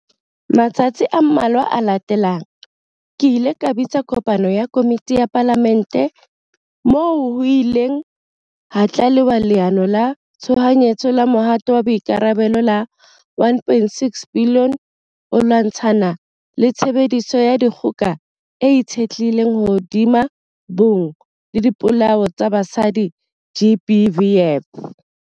Matsatsing a mmalwa a latelang, ke ile ka bitsa kopano ya komiti ya Palamente, moo ho ileng hatlalewa Leano la Tshohanyetso la Mohato wa Boikarabelo la R1.6 billion ho lwatshana le tshebediso ya dikgoka e itshetlehileng hodima bong le dipolao tsa basadi, GBVF.